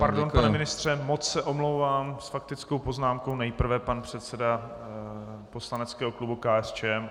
- Pardon, pane ministře, moc se omlouvám, s faktickou poznámkou nejprve pan předseda poslaneckého klubu KSČM.